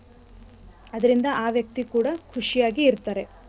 ಅದ್ರಿಂದ ಆ ವ್ಯಕ್ತಿ ಕೂಡ ಖುಷಿಯಾಗಿ ಇರ್ತಾರೆ.